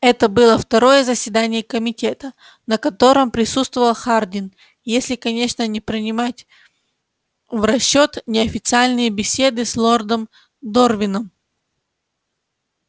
это было второе заседание комитета на котором присутствовал хардин если конечно не принимать в расчёт неофициальные беседы с лордом дорвином